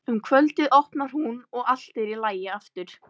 Um kvöldið opnar hún og allt er í lagi aftur.